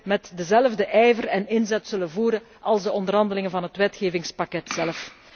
met dezelfde ijver en inzet zullen voeren als de onderhandelingen van het wetgevingspakket zelf.